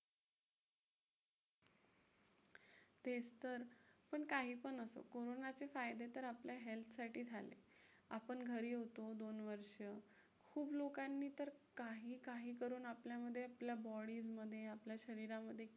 तेच तर, पण काहीपण असो, कोरोनाचे फायदे तर आपल्या health साठी झाले. आपण घरी होतो दोन वर्षं. खूप लोकांनी तर काही काही करून आपल्यामध्ये, आपल्या body मध्ये, आपल्या शरीरामध्ये